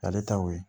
Ale ta ye o ye